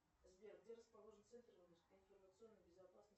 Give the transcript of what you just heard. сбер где расположен центр информационной безопасности